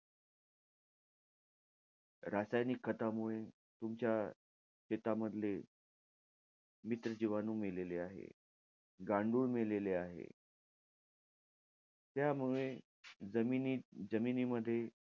रासायनिक खतामुळे तुमच्या शेतामधले मित्र जिवाणू मेलेले आहे. गांडूळ मेलेले आहे. त्यामुळे, जमिनीत~ जमिनीमध्ये,